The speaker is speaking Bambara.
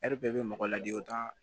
bɛɛ bɛ mɔgɔ ladi o t'a